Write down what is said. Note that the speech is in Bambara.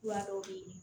Kura dɔw be yen